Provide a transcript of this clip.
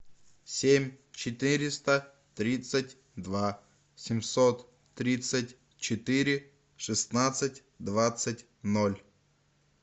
семь четыреста тридцать два семьсот тридцать четыре шестнадцать двадцать ноль